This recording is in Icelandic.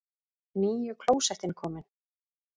NÝJU KLÓSETTIN KOMIN!